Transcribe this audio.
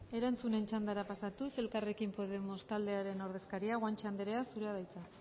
erantzunen txandara pasatuz elkarrekin podemos taldearen ordezkaria guanche andrea zurea da hitza